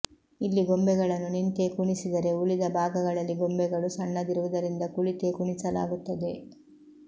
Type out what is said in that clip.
ಇಲ್ಲಿ ಗೊಂಬೆಗಳನ್ನು ನಿಂತೇ ಕುಣಿಸಿದರೆ ಉಳಿದ ಭಾಗಗಳಲ್ಲಿ ಗೊಂಬೆಗಳು ಸಣ್ಣದಿರುವುದರಿಂದ ಕುಳಿತೇ ಕುಣಿಸಲಾಗುತ್ತದೆ